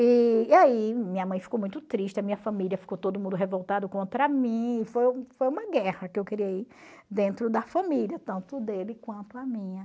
E aí minha mãe ficou muito triste, a minha família ficou todo mundo revoltado contra mim, foi foi uma guerra que eu criei dentro da família, tanto dele quanto a minha.